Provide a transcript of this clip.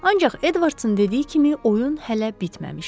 Ancaq Edvardsın dediyi kimi oyun hələ bitməmişdi.